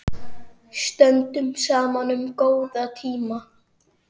Stöndum saman um góða tíma.